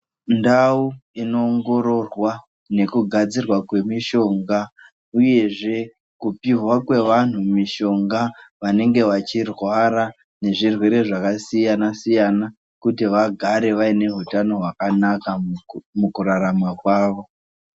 Ndau inoongororwa nekugadzirwa kwemishonga uyezve kupihwa kwevantu mishonga vanenge vachirwara nezvirwere zvakasiyana siyana kuti vagare vane hutano hwakanaka mukurarama kwawo.